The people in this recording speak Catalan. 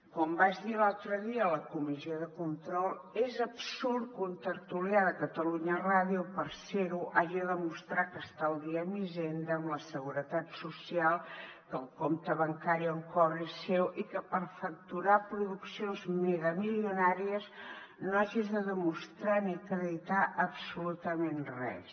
com vaig dir l’altre dia a la comissió de control és absurd que un tertulià de catalunya ràdio per ser ho hagi de demostrar que està al dia amb hisenda amb la seguretat social que el compte bancari on cobra és seu i que per facturar produccions megamilionàries no hagis de demostrar ni acreditar absolutament res